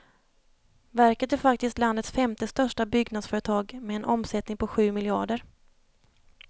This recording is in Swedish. Verket är faktiskt landets femte största byggnadsföretag med en omsättning på sju miljarder.